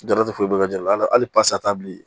Darate dɔ ka jalali bi